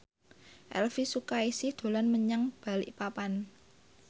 Elvi Sukaesih dolan menyang Balikpapan